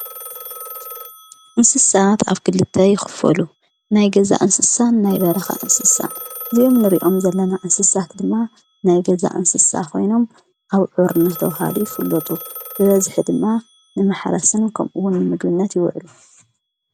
እንስሳት ኣፍ ክልተ ይኽፈሉ ናይ ገዛ እንስሳን ናይ በረኻ እንስሳን ዙኦም ንሪእኦም ዘለና እንስሳት ድማ ናይ ገዛ እንስሳ ኾይኖም ኣብዑር ነተብሃሉ ይፍሎጡ ብበዝሒ ድማ ንመሓራስን ከምኡውን ምግብነት ይውዕሉ።